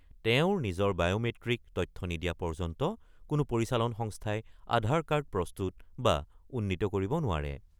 তেওঁৰ নিজৰ বায়'মেট্ৰিক তথ্য নিদিয়া পৰ্যন্ত কোনো পৰিচালন সংস্থাই আধাৰ কাৰ্ড প্ৰস্তুত বা উন্নীত কৰিব নোৱাৰে।